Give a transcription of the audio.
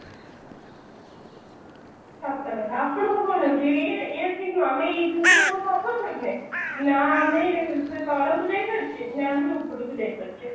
ସତ କଥା ଆସିଲାଣୁ କଣ ହଉଛି ଆମେ ଏଇ ଯୋଉ ଥିରେ ନା ଆମେ ସେ ତଳକୁ ଯାଇ ପରୁଛେ ନା ଆମ ଉପରକୁ ଯାଇ ପାରୁଛେ